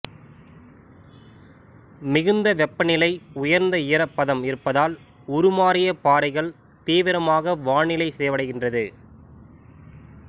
மிகுந்த வெப்பநிலை உயர்ந்த ஈரப்பதம் இருப்பதால் உருமாறிய பாறைகள் தீவிரமாக வானிலை சிதைவடைகின்றது